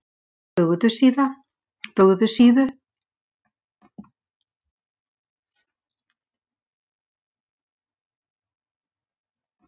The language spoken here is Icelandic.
Bugðusíðu